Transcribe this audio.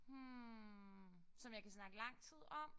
Hm som jeg kan snakke lang tid om?